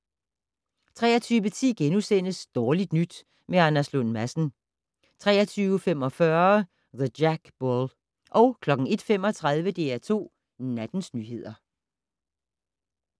23:10: Dårligt nyt med Anders Lund Madsen * 23:45: The Jack Bull 01:35: DR2 Nattens nyheder